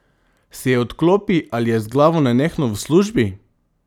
Se odklopi ali je z glavo nenehno v službi?